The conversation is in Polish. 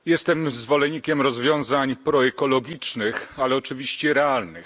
Jestem zwolennikiem rozwiązań proekologicznych, ale oczywiście realnych.